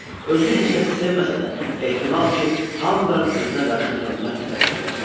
Özü heç kəsi sevməsə də, ehtimal ki, hamıdan özünə qarşı hörmət tələb eləyirdi.